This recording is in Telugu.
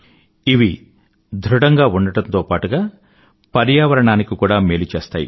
ఇవి ధృఢంగా ఉండడంతో పాటుగా ప్రర్యావరణకు కూడా మేలు చేస్తాయి